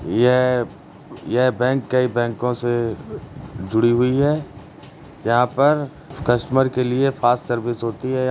यह यह बैंक कई बैंको से जुड़ी हुई है। यहाँ पर कस्टमर के लिए फ़ास्ट सर्विस होती है।